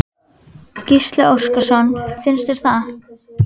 Gísli Óskarsson: Finnst þér það?